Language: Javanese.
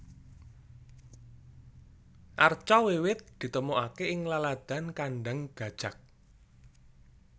Arca wiwit ditemokaké ing laladan Kandang Gajak